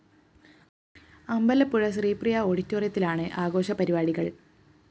അമ്പലപ്പുഴ ശ്രീപ്രിയ ഓഡിറ്റോറിയത്തിലാണ് ആഘോഷ പരിപാടികള്‍